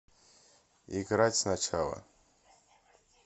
играть сначала